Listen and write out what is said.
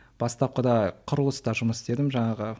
бастапқады құрылыста жұмыс істедім жаңағы